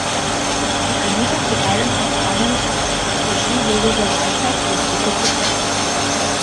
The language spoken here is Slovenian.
Čez trenutek je eden od konjev splašil drugega zajca, ki je stekel po stezi.